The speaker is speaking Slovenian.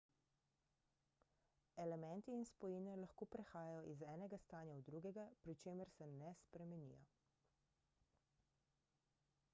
elementi in spojine lahko prehajajo iz enega stanja v drugega pri čemer se ne spremenijo